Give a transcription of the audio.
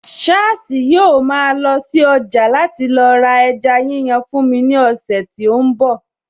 Sháàsì yóò ma lọ sí ọjà láti lọ ra ẹja yíyan fún mi ní ọ̀sẹ̀ tí ó ń bọ̀